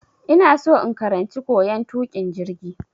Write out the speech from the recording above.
Ina so in karanci koyan tukin jirgi.